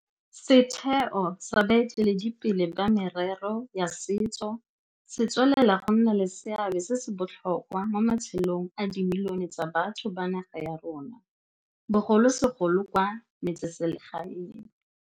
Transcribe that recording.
Setheo sa baeteledipele ba merero ya setso se tswelela go nna le seabe se se botlhokwa mo matshelong a dimilione tsa batho ba naga ya rona, bogolosegolo kwa metseselegaeng.